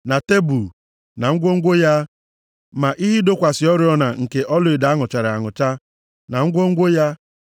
na tebul, na ngwongwo ya, ma ihe ịdọkwasị oriọna nke ọlaedo a nụchara anụcha, na ngwongwo ya,